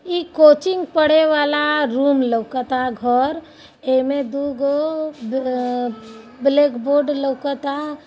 ई coaching पढ़े वाला room लौकता घर। ऐमे दुगो ब ए -- ब्लैक बोर्ड लौकता।